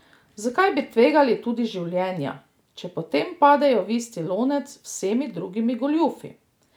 Zakaj bi tvegali tudi življenja, če potem padejo v isti lonec z vsemi drugimi goljufi?